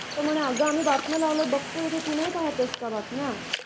तर म्हणे अग आह्मी बातम्या लावल्या आहे भागतो आहे, तू नाही पाहते आहेस का बातम्या?